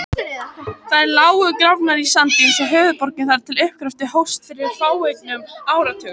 Þær lágu grafnar í sand eins og höfuðborgin þar til uppgröftur hófst fyrir fáeinum áratugum.